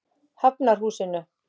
Hafnarhúsinu